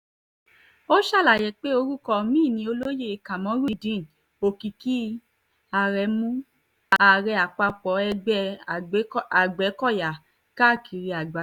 ó ṣàlàyé pé orúkọ mi ni olóyè kamorudeen òkìkí aremu ààrẹ àpapọ̀ ẹgbẹ́ agbẹ́kọ̀yà káàkiri àgbáyé